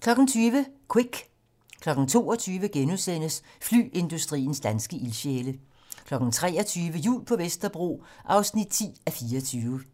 20:00: Quick 22:00: Flyindustriens danske ildsjæle * 23:00: Jul på Vesterbro (10:24)